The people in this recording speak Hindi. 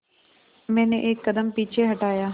मैंने एक कदम पीछे हटाया